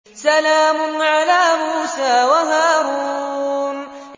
سَلَامٌ عَلَىٰ مُوسَىٰ وَهَارُونَ